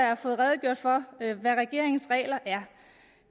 har fået redegjort for hvad regeringens regler er